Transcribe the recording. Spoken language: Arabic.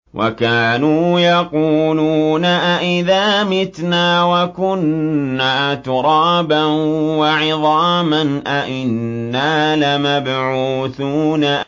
وَكَانُوا يَقُولُونَ أَئِذَا مِتْنَا وَكُنَّا تُرَابًا وَعِظَامًا أَإِنَّا لَمَبْعُوثُونَ